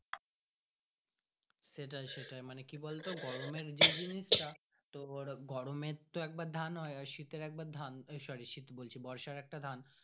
সেটাই সেটাই মানে কি বলতো গরুমের যে জিনিস টা তোমার গরুম তো একবার তো ধান গোয় আর শীতের একবার ধান sorry শীত বলছি বর্ষা একটা ধান।